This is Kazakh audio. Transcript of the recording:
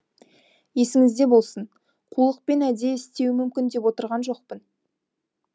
есіңізде болсын қулықпен әдейі істеуі мүмкін деп отырған жоқпын